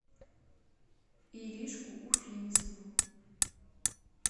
иришку уфимцеву